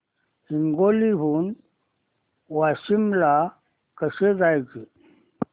हिंगोली हून वाशीम ला कसे जायचे